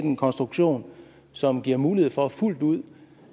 en konstruktion som giver mulighed for fuldt ud